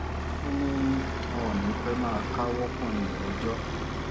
ó ní wọn ò ní í pẹ́ẹ́ máa káwọ́ pọ̀nyìn rojọ́